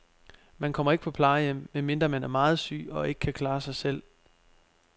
Man kommer ikke på plejehjem, medmindre man er meget syg og ikke kan klare sig selv.